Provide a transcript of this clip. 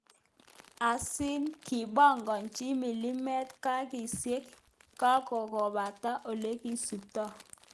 Aziz kipongonchin milimet kasishek kongokakopata olekisuptoi